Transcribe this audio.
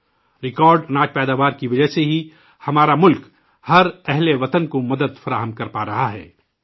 کھانے پینے کی اشیاء کی ریکارڈ پیداوار کی وجہ سے ہی ہمارا ملک ہرشہری کو مدد فراہم کر پا رہا ہے